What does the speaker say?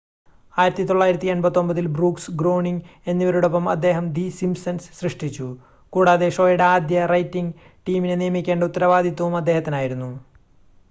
1989-ൽ Brooks Groening എന്നിവരോടൊപ്പം അദ്ദേഹം the Simpsons സൃഷ്ടിച്ചു കൂടാതെ ഷോയുടെ ആദ്യ റൈറ്റിംഗ് ടീമിനെ നിയമിക്കേണ്ട ഉത്തരവാദിത്തവും അദ്ദേഹത്തിനായിരുന്നു